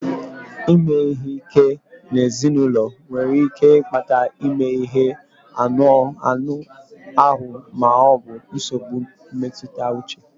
Ime ihe ike n'ezinụlọ nwere ike ịkpata ime ihe ike anụ ahụ ma ọ bụ nsogbu mmetụta uche